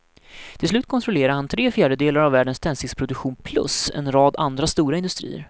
Till slut kontrollerade han tre fjärdedelar av världens tändsticksproduktion plus en rad andra stora industrier.